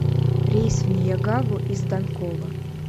рейс в неягаву из данкова